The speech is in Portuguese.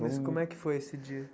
Mas como é que foi esse dia?